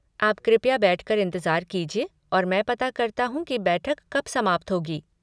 आप कृपया बैठ कर इंतज़ार कीजिए और मैं पता करता हूँ कि बैठक कब समाप्त होगी।